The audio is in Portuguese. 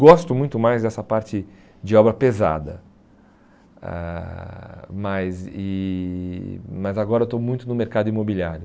Gosto muito mais dessa parte de obra pesada, ãh mas e mas agora eu estou muito no mercado imobiliário.